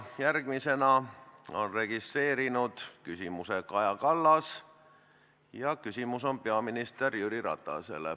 Järgmisena on registreerinud küsimuse Kaja Kallas ja küsimus on peaminister Jüri Ratasele.